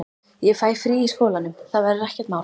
Ég fæ frí í skólanum, það verður ekkert mál.